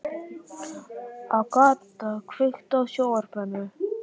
Agata, kveiktu á sjónvarpinu.